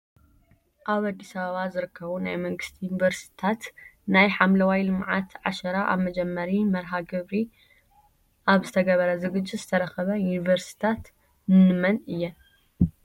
ኣብ ኣዲስ ኣበባ ዝርከቡ ናይ መንግስቲ ዪኒቨርስታት ናይ ሓምለዋይ ልምዓት ዓሸራ ኣብ መጀመሪ መርሃ ግብር ኣብ ዝተገበረ ዝግጅት ዝተረከባ ዪኒቨርስትታት ንንመን እያን?